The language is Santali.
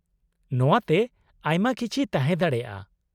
-ᱱᱚᱶᱟᱛᱮ ᱟᱭᱢᱟ ᱠᱤᱪᱷᱤ ᱛᱟᱦᱮᱸ ᱫᱟᱲᱮᱭᱟᱜᱼᱟ ᱾